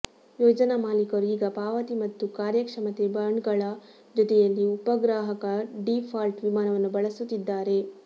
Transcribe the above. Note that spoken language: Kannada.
ಯೋಜನಾ ಮಾಲೀಕರು ಈಗ ಪಾವತಿ ಮತ್ತು ಕಾರ್ಯಕ್ಷಮತೆ ಬಾಂಡ್ಗಳ ಜೊತೆಯಲ್ಲಿ ಉಪಗ್ರಾಹಕ ಡೀಫಾಲ್ಟ್ ವಿಮಾವನ್ನು ಬಳಸುತ್ತಿದ್ದಾರೆ